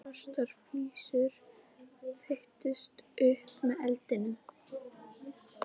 Svartar flygsur þeyttust upp með eldinum.